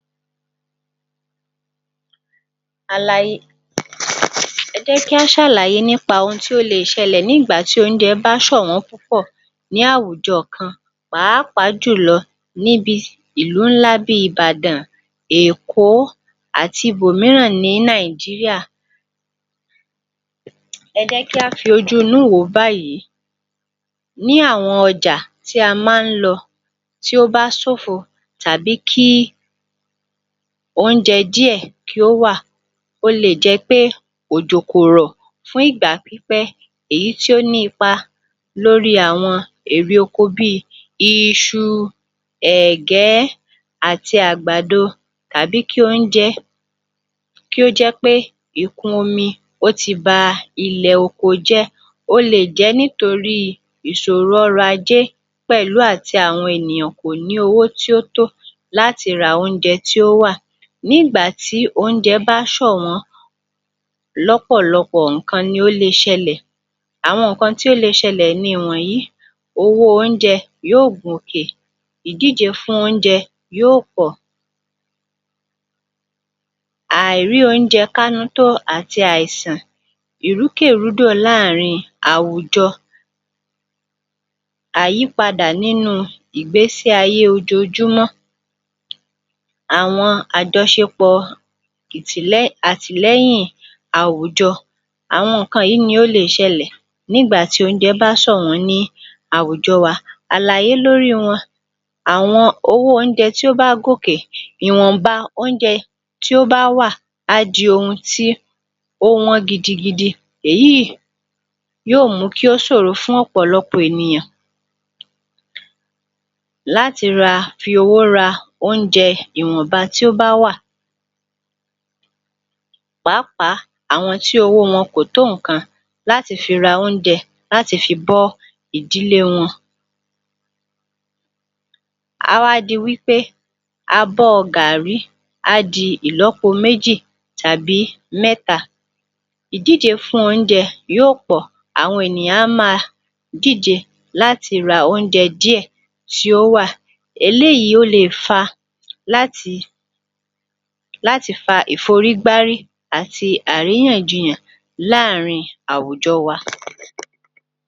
Alayé ẹ jẹ́ kí a ṣàlàyé ní ìgbà tí oúnjẹ bá sọ̀wọ́n púpọ̀ ní àwùjọ kan, pàápàá jùlo ní bi ìlú ńlá bíi Ìbàdàn, Èkó àti bò míràn ní Nàìjíríà. Ẹ jẹ́ kí a fi ojú inú wò ó báyìí, ní àwọn ọjà tí a ma ń lọ, tí ó bá sófo tàbí kí oúnjẹ díẹ̀ kí ó wà, o le jẹ́ pé ojo kò rọ̀ fún ìgbà pípẹ́ èyítí ó ní ipa lórí àwọn èrè oko bíi, iṣu, ẹ̀gẹ́, àti àgbàdo tàbi kí oúnjẹ ó jẹ́ pé ìkún omi ó ti ba ilẹ̀ oko jẹ́, ó le jẹ́ nítorí ìsòro ọrọ̀ ajẹ́ pẹ̀lú àti àwọn ènìyàn kò ní owó tó tó láti ra oúnjẹ tó wà nígbàtí oúnjẹ bá sọ̀wọ́n lọ́pọ̀lọpọ̀ ǹkan ni ó le ṣẹlẹ̀, àwọn ǹkan tó le ṣẹlẹ̀ nì wọ̀nyí. Owó oúnjẹ yóó gùn kè, ìdíje fún oúnjẹ yóó pọ̀, à ì rí oúnjẹ ká nú àti àìsàn, ìrúkẹ̀rúdò láàárin àwùjọ, àyípadà nínú ìgbésí ayé ojojúmọ́, àwọn àjọṣepọ̀ ìtìlẹ́yìn, àtìlẹ́yìn àwùjọ. Àwọn nǹkan yìí ni ó le ṣẹlẹ̀ nígbàtí oúnjẹ bá sọ̀wọ́n ní àwùjọ wa, àlàyé lórí wọn, àwọn irú oúnjẹ tó bá gòkè ìwọ̀nba oúnjẹ tó bá wà á di ohun tí ó wọ́n gidigidi èyí yó mú kí ó sòro fún ọ̀pọ̀lọpọ̀ ènìyàn láti ra, fi owó ra oúnjẹ ìwọ̀ba tó bá wà, pàápàá àwọn tí owó wọn kò tó ǹkankan láti fi ra oúnjẹ láti fi bọ́ ìdílé wọn. Á wá di wí pé abọ́ gàrí á di ìlọ́po méjì tàbí mẹ́ta, ìdíje fún oúnjẹ yóó pọ̀ àwọn ènìyàn a má a díje láti ra oúnjẹ díẹ̀ tí ó wà, eléyìí ó le fa láti láti fa ìforígbárí àti àríyànjiyàn láàárín àwùjọ wa.